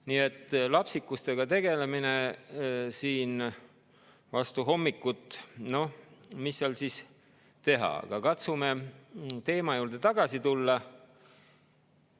Nii et lapsikustega tegelemine siin vastu hommikut – noh, mis seal teha, aga katsume teema juurde tagasi tulla.